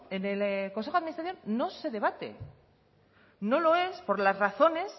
en el consejo de administración no se debate no lo es por las razones